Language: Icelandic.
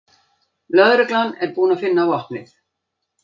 Lögreglan er búin að finna vopnið